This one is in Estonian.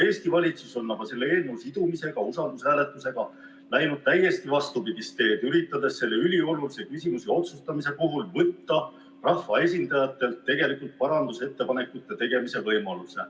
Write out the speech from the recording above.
Eesti valitsus on aga selle eelnõu usaldushääletusega sidumisega läinud täiesti vastupidist teed, üritades selle üliolulise küsimuse otsustamise puhul võtta rahvaesindajailt tegelikult parandusettepanekute tegemise võimaluse.